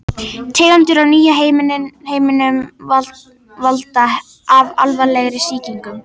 Tegundir í nýja heiminum valda alvarlegri sýkingum.